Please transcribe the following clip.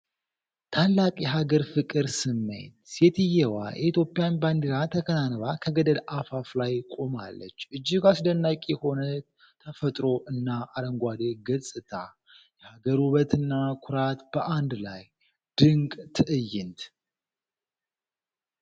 ታላቅ የሀገር ፍቅር ስሜት! ሴትየዋ የኢትዮጵያን ባንዲራ ተከናንባ ከገደል አፋፍ ላይ ቆማለች! እጅግ አስደናቂ የሆነ ተፈጥሮ እና አረንጓዴ ገጽታ! የሀገር ውበትና ኩራት በአንድ ላይ! ድንቅ ትዕይንት!